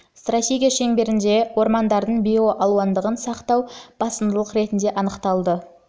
стратегия шеңберінде ормандардың биоалуандылығын сақтау басымдылық ретінде анықталды